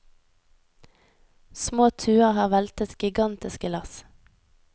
Små tuer har veltet gigantiske lass.